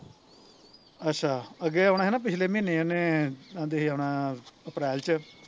ਅੱਛਾ ਅੱਗੇ ਆਉਣਾ ਸੀ ਨਾ ਪਿਛਲੇ ਮਹੀਨੇ ਉਹਨੇ ਕਹਿੰਦੇ ਸੀ ਆਉਣਾ ਅਪ੍ਰੈਲ ਚ